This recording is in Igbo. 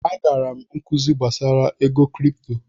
Agara m nkuzi gbasara ego kripto.